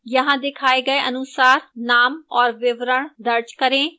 यहां दिखाए गए अनुसार name और विवरण दर्ज करें